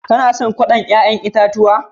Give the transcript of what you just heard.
Kala son salatin yayan itatuwa da na yi jiya?